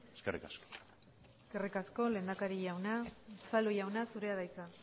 eskerrik asko eskerrik asko lehendakari jauna unzalu jauna zurea de hitza